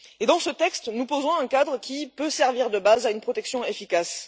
Dans ce texte, nous posons un cadre qui peut servir de base à une protection efficace.